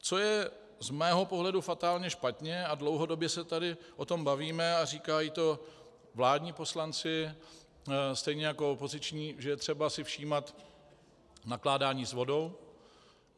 Co je z mého pohledu fatálně špatně a dlouhodobě se tady o tom bavíme a říkají to vládní poslanci stejně jako opoziční, že je třeba si všímat nakládání s vodou.